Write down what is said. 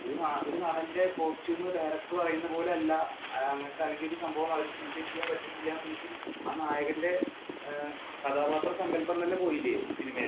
ഒരു നടന്റെ costume director പറയുന്ന പോലെ അല്ല. അങ്ങനത്തെ സംഭവം design ചെയ്യാന്‍ പറ്റണില്ല എങ്കില്‍ ആ നായകന്‍റെ ആഹ് കഥാപാത്രസങ്കല്പം തന്നെ പോയില്ലേ സിനിമയിൽ